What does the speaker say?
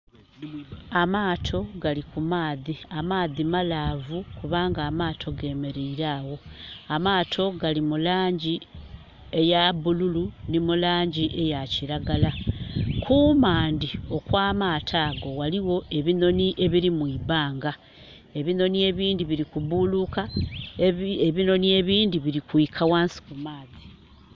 Amaato gali kumaadhi. Amaadhi malavu kubanga amaato gemereire agho. Amaato gali mulangi eya bululu ni mulangi eya kiragala. Kumandi okwa maato ago waliwo ebinoni ebiri mwibbanga. Ebinooni ebindhi biri gubuluka, ebinoni ebindhi biri kwika ghansi mu maadhi